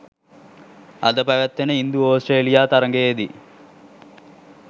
අද පැවැත්වෙන ඉන්දු ඔස්ට්‍රේලියා තරගයේදී